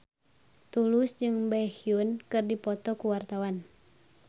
Tulus jeung Baekhyun keur dipoto ku wartawan